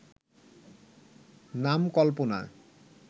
নাম কল্পনা